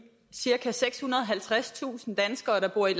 cirka sekshundrede og halvtredstusind danskere der bor i